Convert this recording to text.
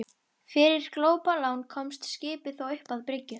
Fyrir glópalán komst skipið þó upp að bryggju.